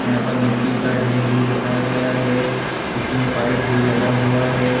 यहाँ पर मिट्टी का देर भी रखाया गया है इसमें पाइप भी लगा हुआ है |